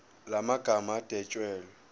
la magama adwetshelwe